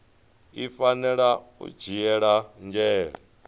i fanela u dzhiela nzhele